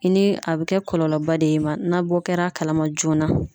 I ni a be kɛ kɔlɔlɔba de ye i ma, n'a bɔ kɛra a kalama joona.